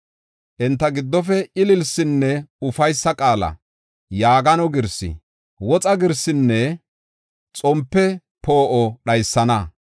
Enta giddofe ililsinne ufaysa qaala, yaagano girsi, woxa girsinne xompe poo7o dhaysana.